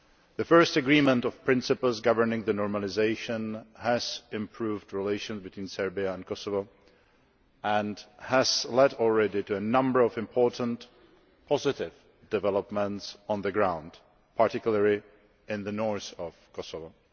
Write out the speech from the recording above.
The First agreement of principles governing normalisation' has improved relations between Serbia and Kosovo and has already led to a number of important, positive developments on the ground, particularly in the north of Kosovo.